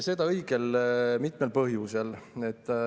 Seda õige mitmel põhjusel.